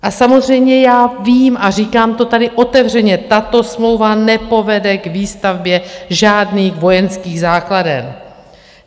A samozřejmě já vím, a říkám to tady otevřeně, tato smlouva nepovede k výstavbě žádných vojenských základen.